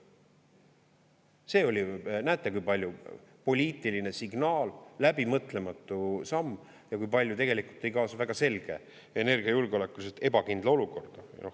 See oli – näete, kui palju – poliitiline signaal, läbimõtlematu samm ja kui palju tegelikult tõi kaasa väga selge energiajulgeolekuliselt ebakindla olukorra.